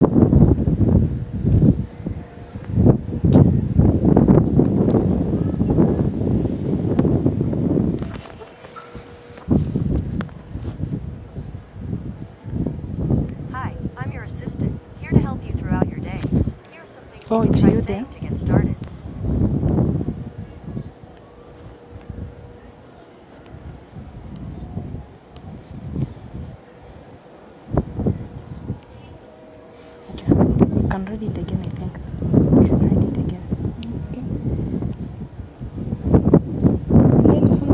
pangani ndikunyamula zikalata za inshuransi yanu ndipo mukhaleso ndizolumikizirana ndi kampani ya inshuransi yanu